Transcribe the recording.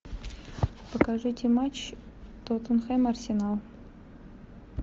покажите матч тоттенхэм арсенал